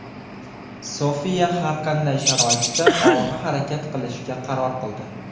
Sofiya har qanday sharoitda olg‘a harakat qilishga qaror qildi.